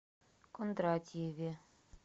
кондратьеве